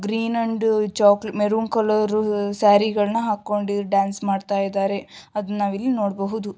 Green and choke maroon colour ಸ್ಯಾರೀನ ಹಾಕ್ಕೊಂಡಿ ಇಲ್ ಡ್ಯಾನ್ಸ್ ಮಾಡ್ತಾಇದ್ದಾರೆ ಅದ್ನ ನಾವಿಲ್ ನೋಡಬಹುದು.